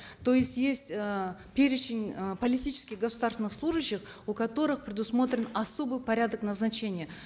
то есть есть э перечень э политических государственных служащих у которых предусмотрен особый порядок назначения